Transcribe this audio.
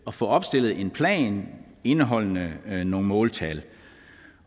at få opstillet en plan indeholdende nogle måltal